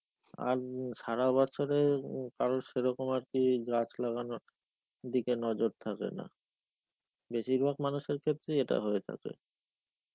আর উম সারা বছরে উম কারুর সেরকম আর কি গাছ লাগানোর দিকে নজর থাকে না. বেশিরভাগ মানুষের ক্ষেত্রেই এটা হয়ে থাকে.